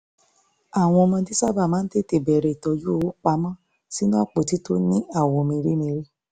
àwọn ọmọdé sábà máa ń tètè bẹ̀rẹ̀ tọ́jú owó pa mọ́ sínú àpótí tó ní àwọ̀ mèremère